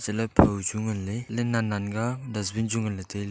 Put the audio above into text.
ele phoi chu ngan le ele nan nan ka dustbin chu nganle taile.